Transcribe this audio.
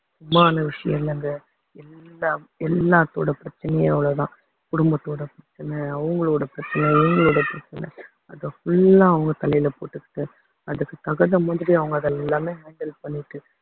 மான விஷயம் இல்லைங்க எல்லா~ எல்லாத்தோட பிரச்சனையும் அவ்வளவுதான் குடும்பத்தோட பிரச்சனை அவங்களோட பிரச்சனை இவங்களோட பிரச்சனை அதை full ஆ அவங்க தலையில போட்டுட்டு அதுக்கு தகுந்த மாதிரி அவங்க அதை எல்லாமே handle பண்ணிட்டு